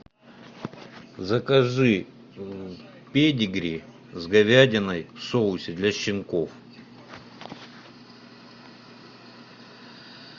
закажи педигри с говядиной в соусе для щенков